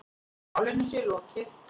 Málinu sé lokið.